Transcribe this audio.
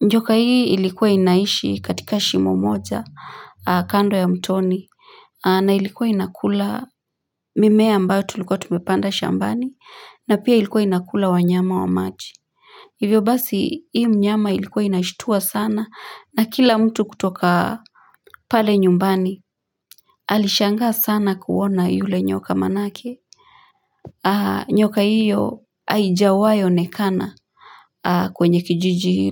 njoka hii ilikuwa inaishi katika shimo moja kando ya mtoni na ilikuwa inakula mimea ambayo tulikuwa tumepanda shambani na pia ilikuwa inakula wanyama wa maji Hivyo basi hii mnyama ilikuwa inashitua sana na kila mtu kutoka pale nyumbani alishangaa sana kuona yule nyoka manake. Nyoka hiyo haijawahi onekana kwenye kijiji hilo.